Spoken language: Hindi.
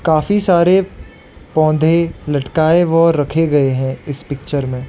काफी सारे पौधे लटकाए व रखे गए हैं इस पिक्चर में।